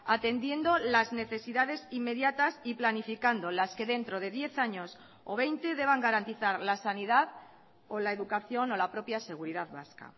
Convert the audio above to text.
atendiendo las necesidades inmediatas y planificando las que dentro de diez años o veinte deban garantizar la sanidad o la educación o la propia seguridad vasca